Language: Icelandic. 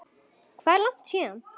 Hvað er langt héðan?